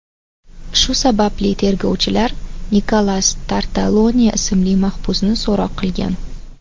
Shu sababli tergovchilar Nikolas Tartalone ismli mahbusni so‘roq qilgan.